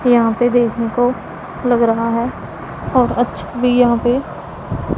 यहां पे देखने को लग रहा है और अच्छा भी यहां पे--